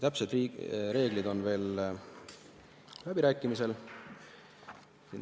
Täpsed reeglid on veel läbirääkimisel.